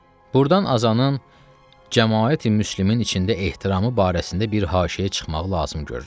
Burdan azanın cəmaati müslüminin içində ehtiramı barəsində bir haşiyə çıxmaq lazım görürəm.